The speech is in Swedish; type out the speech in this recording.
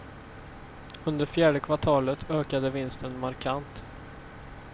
Under fjärde kvartalet ökade vinsten markant.